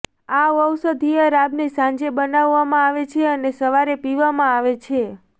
આ ઔષધીય રાબને સાંજે બનાવવામાં આવે છે અને સવારે પીવામાં આવે છે